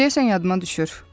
Deyəsən yadıma düşür.